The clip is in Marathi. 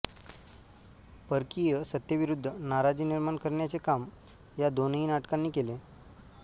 परकीय सत्तेविरुद्ध नाराजी निर्माण करण्याचे काम या दोनही नाटकांनी केले